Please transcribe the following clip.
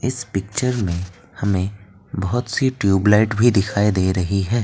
इस पिक्चर में हमें बहुत सी ट्यूब लाइट भी दिखाई दे रही है।